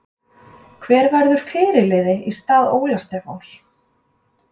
Hver verður fyrirliði í stað Óla Stefáns?